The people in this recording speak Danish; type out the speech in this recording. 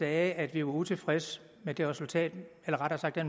at vi var utilfredse med det resultat eller rettere sagt med